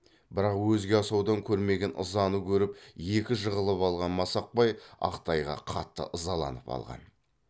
бірақ өзге асаудан көрмеген ызаны көріп екі жығылып алған масақбай ақ тайға қатты ызаланып алған